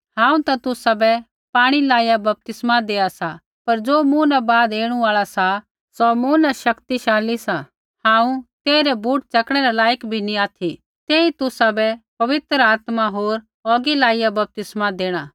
हांऊँ ता तुसाबै पाणी लाइया बपतिस्मा देआ सा पर ज़ो मूँ न बाद ऐणु आल़ा सा सौ मूँ न शक्तिशाली सा हांऊँ तेइरै बूट च़कणै रै लायक भी नी ऑथि तेई तुसाबै पवित्र आत्मा होर औगियै लाइया बपतिस्मा देणा